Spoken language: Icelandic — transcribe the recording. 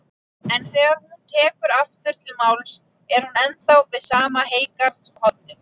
En þegar hún tekur aftur til máls er hún ennþá við sama heygarðshornið.